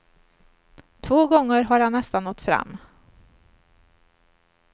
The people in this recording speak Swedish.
Två gånger har han nästan nått fram.